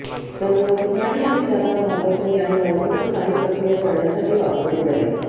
त्यामुळे तो पाणी आणि जागा घाबरत नाही आणि लवकरच पाणी प्रक्रिया करण्यासाठी वापरले जाईल